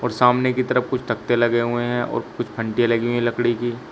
और सामने की तरफ कुछ तख्ते लगे हुए हैं और कुछ लगी हुई है लकड़ी की।